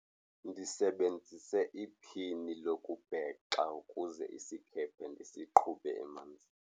Ndisebenzise iphini lokubhexa ukuze isikhephe ndisiqhube emanzini.